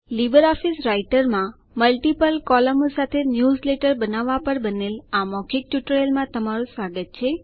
Libre Office Writer multiple બહુવિધ કૉલમો સાથે ન્યૂઝલેટરો બનાવવા પર બનેલ મૌખિક ટ્યુટોરિયલમાં તમારું સ્વાગત છે